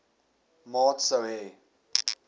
maat sou hê